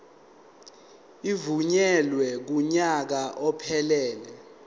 evunyelwe kunyaka ophelele